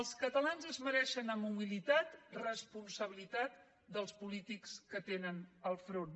els catalans es mereixen amb humilitat responsabilitat dels polítics que tenen al capdavant